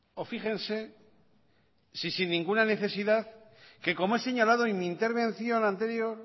o fíjense si sin ninguna necesidad que como he señalado en mi intervención anterior